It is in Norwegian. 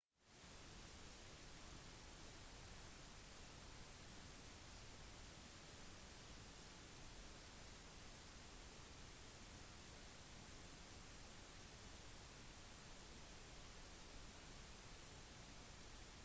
spasering var det første kjente transportmiddelet. mennesker begynte å gå oppreist for 2 millioner år siden når homo erectus som betyr oppreist mann vokste frem